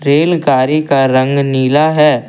रेलगाड़ी का रंग नीला है।